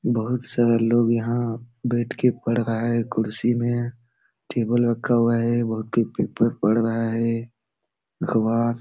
बहुत सारा लोग यहाँ बैठ के पढ़ रहा है कुर्सी मे टेबल रखा हुआ है वहा के पढ़ रहा है अख़बार --